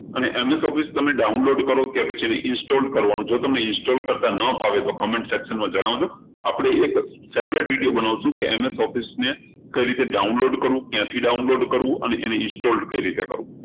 અને MSofficedownload કરો અને પછી install કરો અને install કરતા ના ફાવે તો comment section માં જણાવજો આપણે એક separate video બનાવશું કે MS Office ને કઈ રીતે download કરવું ક્યાંથી download કરવું અને એને install કઈ રીતે કરવું